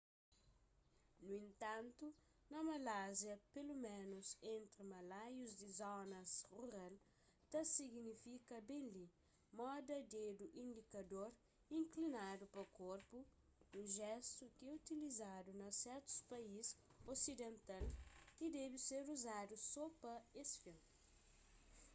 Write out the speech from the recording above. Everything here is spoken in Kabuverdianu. nu entantu na malásia peloménus entri malaius di zonas rural ta signifika ben li moda dedu indikador inklinadu pa korpu un jestu ki é utilizadu na sertus país osidental y debe ser uzadu so pa es fin